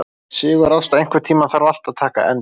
Sigurásta, einhvern tímann þarf allt að taka enda.